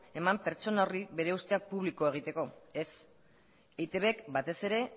eman pertsona horri bere usteak publiko egiteko ez eitbk batez ere